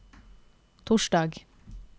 torsdag